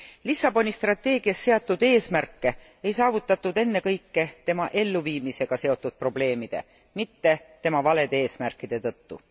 Lissaboni strateegias seatud eesmärke ei suudetud saavutada ennekõike tema elluviimisega seotud probleemide, mitte tema valede eesmärkide tõttu.